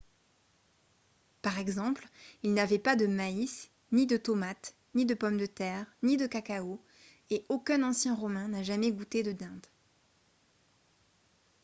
par exemple ils n'avaient pas de maïs ni de tomates ni de pommes de terre ni de cacao et aucun ancien romain n'a jamais goûté de dinde